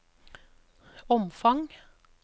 omfang